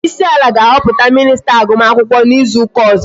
Onyeisi ala ga-ahọpụta minista agụm akwụkwọ n'izu ụka ọzọ